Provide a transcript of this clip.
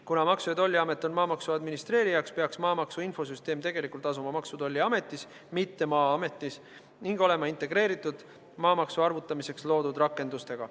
Kuna Maksu- ja Tolliamet on maamaksu administreerija, peaks maamaksu infosüsteem tegelikult asuma Maksu- ja Tolliametis, mitte Maa-ametis, ning olema integreeritud maamaksu arvutamiseks loodud rakendustega.